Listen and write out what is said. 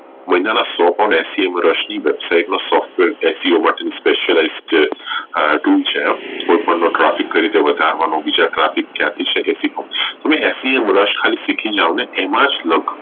મહિના ના સો point એશી વર્ષ ની website માં software એનું Specialization જે છે એક વાર traffic કરી ને વધારવાનું બીજા traffic ક્યાંથી છે તમે afe ખાલી શીખી જાવ ને એમાં જ